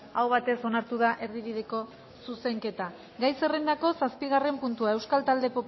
aho batez onartu da erdibideko zuzenketa gai zerrendako zazpigarren puntua euskal talde